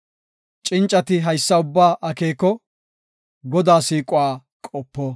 Cincati haysa ubbaa akeeko; Godaa siiquwa qopo.